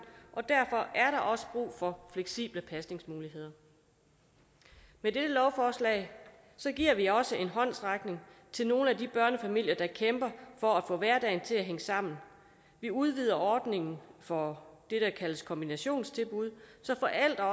og derfor er der også brug for fleksible pasningsmuligheder med dette lovforslag giver vi også en håndsrækning til nogle af de børnefamilier der kæmper for at få hverdagen til at hænge sammen vi udvider ordningen for det der kaldes kombinationstilbud så